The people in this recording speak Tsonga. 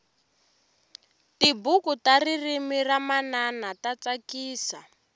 tibuku ta ririmi ra manana ta tsakisa